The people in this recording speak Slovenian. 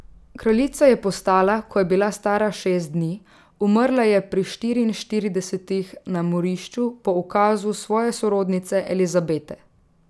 Kraljica je postala, ko je bila stara šest dni, umrla je pri štiriinštiridesetih na morišču po ukazu svoje sorodnice Elizabete.